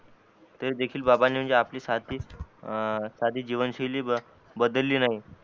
तर देखील बाबांनी म्हणजे साधी अं साधी जीवसशैली बदली नाही